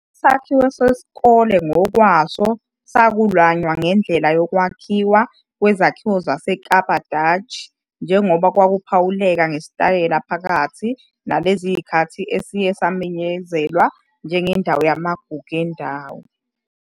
Isakhiwo sesikole ngokwaso saklanywa ngendlela yokwakhiwa kwezakhiwo zaseKapa Dutch njengoba kwakuphawuleka ngesitayela phakathi nalezo zikhathi esiye samenyezelwa njengendawo yamagugu endawo.